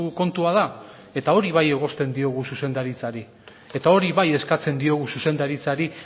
kontua da eta hori bai egozten diogu zuzendaritzari eta hori bai eskatzen diogu zuzendaritzari